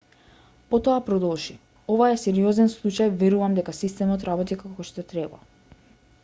потоа продолжи ова е сериозен случај верувам дека системот работи како што треба